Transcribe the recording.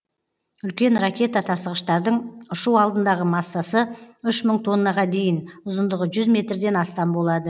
үлкен ракета тасығыштардың ұшу алдындағы массасы үш мың тоннаға дейін ұзындығы жүз метрден астам болады